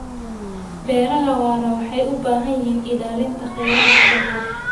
Beeraha waara waxay u baahan yihiin ilaalinta khayraadka dhulka.